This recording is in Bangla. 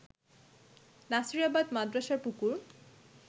নাসিরাবাদ মাদ্রাসার পুকুর